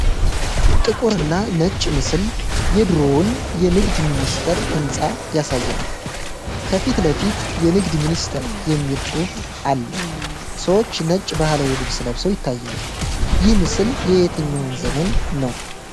ጥቁርና ነጭ ምስል የድሮውን የንግድ ሚኒስቴር ህንፃ ያሳያል። ከፊት ለፊት "የንግድ ሚኒስቴር" የሚል ጽሑፍ አለ። ሰዎች ነጭ ባህላዊ ልብስ ለብሰው ይታያሉ። ይህ ምስል የየትኛው ዘመን ነው?